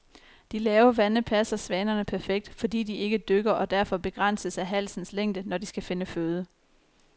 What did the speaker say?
De lave vande passer svanerne perfekt, fordi de ikke dykker og derfor begrænses af halsens længde, når de skal finde føde.